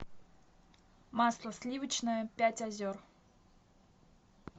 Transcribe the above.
масло сливочное пять озер